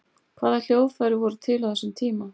hvaða hljóðfæri voru til á þessum tíma